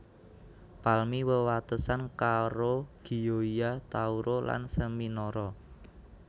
Palmi wewatesan karo Gioia Tauro lan Seminara